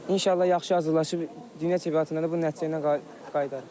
İnşallah yaxşı hazırlaşıb Dünya çempionatında da bu nəticə ilə qayıdarıq.